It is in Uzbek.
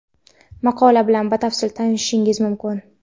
Maqola bilan batafsil tanishishingiz mumkin.